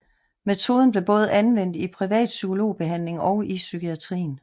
Metoden blev både anvendt i privat psykologbehandling og i psykiatrien